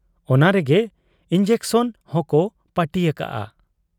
ᱚᱱᱟᱨᱮᱜᱮ injection ᱦᱚᱸᱠᱚ ᱯᱟᱹᱴᱤ ᱟᱠᱟᱜ ᱟ ᱾